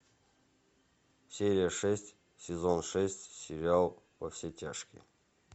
серия шесть сезон шесть сериал во все тяжкие